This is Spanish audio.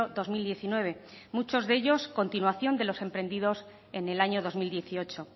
dos mil diecinueve muchos de ellos continuación de los emprendidos en el año dos mil dieciocho